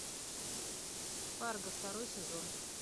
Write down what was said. фарго второй сезон